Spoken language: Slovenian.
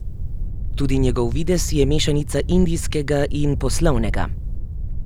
Tudi njegov videz je mešanica indijskega in poslovnega.